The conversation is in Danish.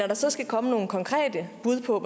der så skal komme nogle konkrete bud på